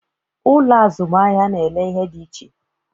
Ụlọ azụmahịa n'ele ihe dị iche